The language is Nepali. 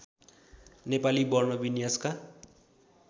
नेपाली वर्ण विन्यासका